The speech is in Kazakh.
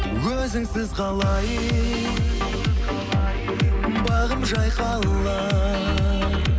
өзіңсіз қалай бағым жайқалар